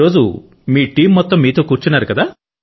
ఈరోజు మీ టీం మొత్తం మీతో కూర్చున్నారు